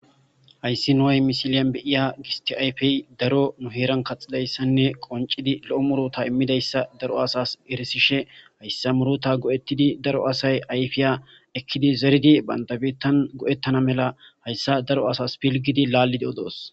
hayssi nuhay misiliyan beiya gistie ayfey daro nu heeran kaxidayssanne qoncidi lo7o murota immidayssa daro asas erisishe hayssa murota go7ettidi daro asay ayfiya ekkidi zeridi bandabettan go7ettana mela hayssa daro asas pilgidi laallidi odoos